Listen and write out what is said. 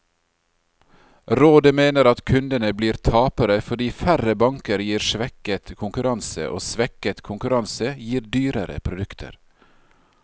Rådet mener at kundene blir tapere, fordi færre banker gir svekket konkurranse, og svekket konkurranse gir dyrere produkter.